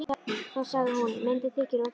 Þá sagði hún: Myndin þykir of dýr.